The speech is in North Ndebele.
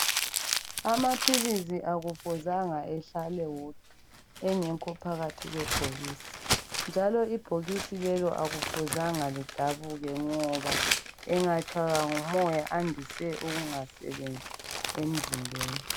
Amaphilizi akufuzange ehlale wodwa engekho phakathi kwebhokisi, njalo ibhokisi lelo akufuzanga lidabuke ngoba engatshaywa ngumoya ayandise ukungasebenzi emzimbeni.